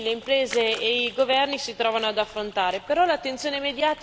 che i cittadini, le imprese e i governi si trovano ad affrontare.